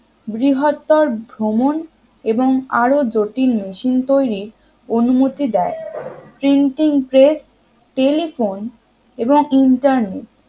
বৃহত্তর ভ্রমণ এবং আরো জটিল machine তৈরির অনুমতি দেয় printing press telephone এবং internet